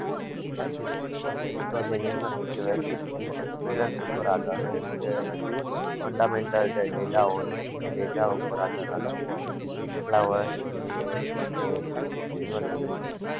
એ તો છે university હોય ને એનો experience ઉપર આધાર હોય fundamental જે data હોય એ data પર આધાર રાખ તું હોય કે કેટલા વર્ષ જૂની university છે